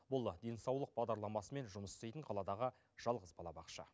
бұл денсаулық бағдарламасымен жұмыс істейтін қаладағы жалғыз балабақша